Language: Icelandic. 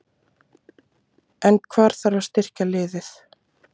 En hvar þarf að styrkja liðið?